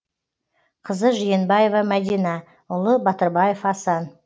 қызы жиенбаева мәдина ұлы батырбаев асан